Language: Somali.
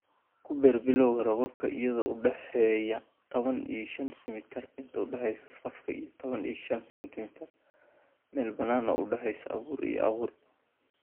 Ku beer bilowga roobabka iyadoo u dhexeeya tadhawan iyo shan sentimitar inta u dhaxaysa safafka iyo tawan iyo shan sentimitar meel bannaan oo u dhaxaysa abuur iyo abuur.